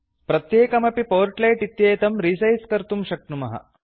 प्रत्येकमपि पोर्ट्लेट् इत्येतं रिसैस् कर्तुं शक्नुमः